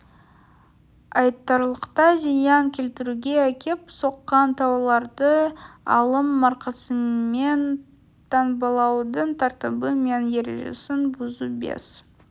айтарлықтай зиян келтіруге әкеп соққан тауарларды алым маркасымен таңбалаудың тәртібі мен ережесін бұзу бес